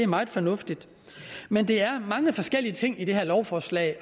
meget fornuftigt men der er mange forskellige ting i det her lovforslag